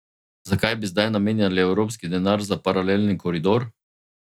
Zakaj bi zdaj namenjali evropski denar za paralelni koridor?